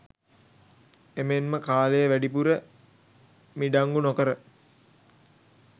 එමෙන්ම කාලය වැඩිපුර මිඩංගු නොකර